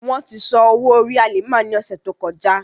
Wọn ti san owo-ori Halima ni ọsẹ to kọja.